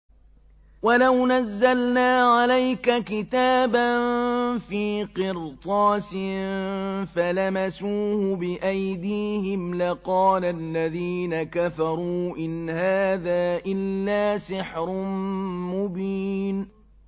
وَلَوْ نَزَّلْنَا عَلَيْكَ كِتَابًا فِي قِرْطَاسٍ فَلَمَسُوهُ بِأَيْدِيهِمْ لَقَالَ الَّذِينَ كَفَرُوا إِنْ هَٰذَا إِلَّا سِحْرٌ مُّبِينٌ